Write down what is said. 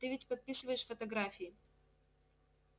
ты ведь подписываешь фотографии